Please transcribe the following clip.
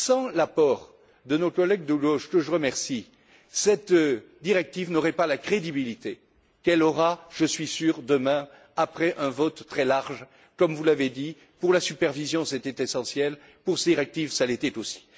Sans l'apport de nos collègues de gauche que je remercie, cette directive n'aurait pas la crédibilité qu'elle aura, je suis sûr, demain après un vote très large, comme vous l'avez dit pour la supervision, c'était essentiel, pour cette directive, ça l'était aussi.